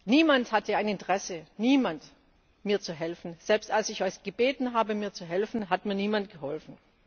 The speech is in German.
Niemand hatte ein Interesse niemand! mir zu helfen. Selbst als ich Euch gebeten habe, mir zu helfen, hat mir niemand geholfen.